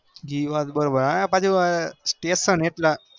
એ વાત બરો બાર પાછુ અ tesn એટલે